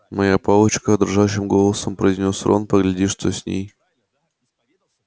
моя палочка дрожащим голосом произнёс рон погляди что с ней случилось